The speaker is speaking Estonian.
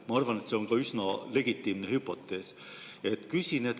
Ma arvan, et see on ka üsna legitiimne hüpotees.